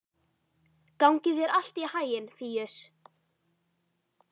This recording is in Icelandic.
Gangi þér allt í haginn, Fíus.